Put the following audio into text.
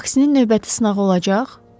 “Vaksinin növbəti sınağı olacaq?”